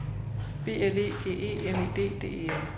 B L E G E M I D D E L